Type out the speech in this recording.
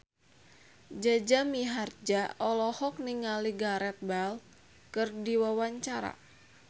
Jaja Mihardja olohok ningali Gareth Bale keur diwawancara